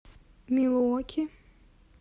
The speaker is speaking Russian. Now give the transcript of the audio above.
милуоки